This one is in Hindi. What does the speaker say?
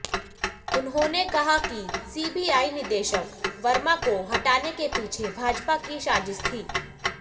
उन्होंने कहा कि सीबीआइ निदेशक वर्मा को हटाने के पीछे भाजपा की साजिश थी